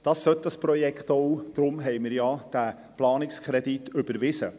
Das ist das Ziel dieses Projektes, und deshalb haben wir den Planungskredit überwiesen.